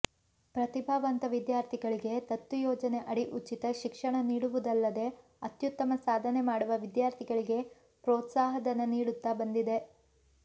ಪ್ರತಿಭಾವಂತ ವಿದ್ಯಾರ್ಥಿಗಳಿಗೆ ದತ್ತು ಯೋಜನೆ ಅಡಿ ಉಚಿತ ಶಿಕ್ಷಣ ನೀಡುವುದಲ್ಲದೆ ಅತ್ಯತ್ತಮ ಸಾಧನೆ ಮಾಡುವ ವಿದ್ಯಾರ್ಥಿಗಳಿಗೆ ಪ್ರೋತ್ಸಾಹಧನ ನೀಡುತ್ತಾ ಬಂದಿದೆ